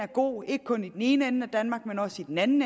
god ikke kun i den ene ende af danmark men også i den anden